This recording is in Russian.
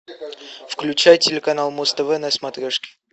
включай телеканал муз тв на смотрешке